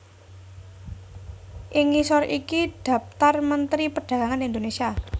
Ing ngisor iki dhaptar Mentri Perdagangan Indonésia